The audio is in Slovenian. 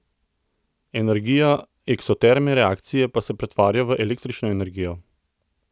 Energija eksotermne reakcije pa se pretvarja v električno energijo.